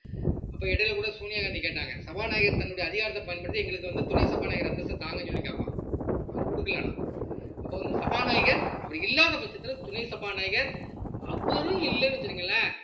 அப்ப இடையில கூட சோனியா காந்தி கேட்டாங்க சபாநாயகர் தன்னுடைய அதிகாரத்தை பயன்படுத்தி எங்களுக்கு வந்து துணை சபாநாயகர் அந்தஸ்தை தாங்கன்னு சொல்லி கேப்பான் அவன் குடுக்கலைன்னா அப்ப வந்து சபாநாயகர் அவர் இல்லாத பட்சத்துல துணை சபாநாயகர் அவரும் இல்லைன்னு வச்சுக்கங்களேன்